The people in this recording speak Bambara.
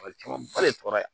caman ba de sɔrɔ yan